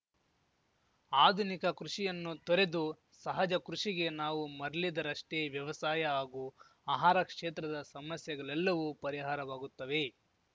ಆಧುನಿಕ ಕೃಷಿಯನ್ನು ತೊರೆದು ಸಹಜ ಕೃಷಿಗೆ ನಾವು ಮರಲಿದರಷ್ಟೇ ವ್ಯವಸಾಯ ಹಾಗೂ ಆಹಾರ ಕ್ಷೇತ್ರದ ಸಮಸ್ಯೆಗಲೆಲ್ಲವೂ ಪರಿಹಾರವಾಗುತ್ತವೆ